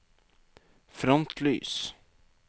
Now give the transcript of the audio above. frontlys